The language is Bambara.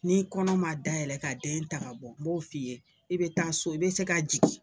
N'i kɔnɔ ma dayɛlɛ ka den ta ka bɔ n b'o f'i ye i bɛ taa so i bɛ se ka jigin